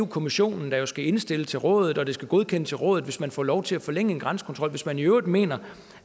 kommissionen der skal indstille til rådet og at det skal godkendes af rådet hvis man får lov til at forlænge en grænsekontrol hvis man i øvrigt mener